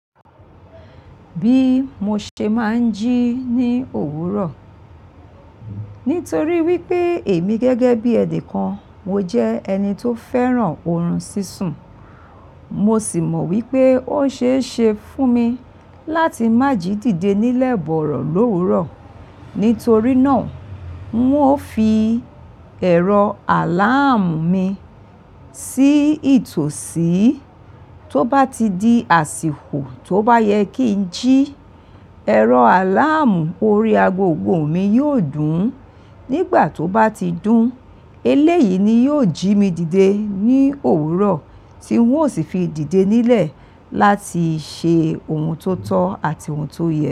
Bí mo ṣe máa ń jí ní òwúrọ̀. Nítorí wípé èmi gẹ́gẹ́ bí ẹ̀nì kan, mo jẹ́ ẹni tó fẹ́ràn orun sísun. Mo sì mọ̀ wípé ó ṣeé ṣe fún mi láti má jí dìde nílẹ̀ bọ̀rọ̀ l'òwúrọ̀. Nítorí náà, n ó fi ẹ̀rọ àláàmù mi sí ìtòsí. Tó bá ti di àsìkò tó bá yẹ kí n jí, ẹ̀rọ àláàmù orí agogo mi yóò dùn. Nígbà tó bá ti dún, eléyìí ni yóò jí mi dìde ní òwúrọ̀ tí n ó sì fi dìde nílẹ̀ láti ṣe ohun tó tọ́ àti ohun tó yẹ.